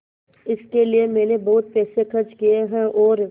इसके लिए मैंने बहुत पैसे खर्च किए हैं और